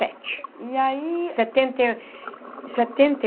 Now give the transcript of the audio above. Sete. E aí. Setenta e setenta e